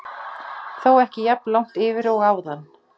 Þó ekki jafn langt yfir og áðan.